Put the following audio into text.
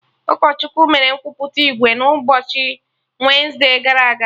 Ụkọchukwu mere nkwupụta ìgwè n'ụbọchị wensde gara aga